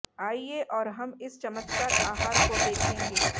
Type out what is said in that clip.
आइए और हम इस चमत्कार आहार को देखेंगे